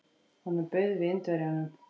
Honum bauð við Indverjanum.